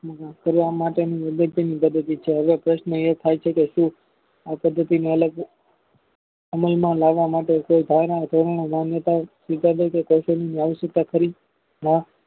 કરવા માટેની પદ્ધતિ છે. હવે પ્રશ્ન એ થાય છે કે શું આ પદ્ધતિ માં અલગ અમલમાં લાવવા માટે કોઈ ધારણા ધોરણો માન્યતાઓ કૌશલ્યની અવસાયકતા ખરી ના